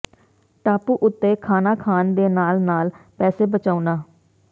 ਟਾਪੂ ਉੱਤੇ ਖਾਣਾ ਖਾਣ ਦੇ ਨਾਲ ਨਾਲ ਪੈਸੇ ਬਚਾਉਣਾ